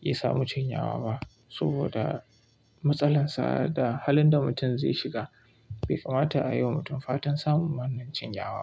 ya samu cinyawa ba saboda matsalar sa da halin da mutum zai shiga bai kamata a yi wa mutum fatan samun wannan cinyawa.